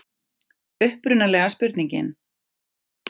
Upprunalega spurningin: